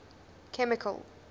chemical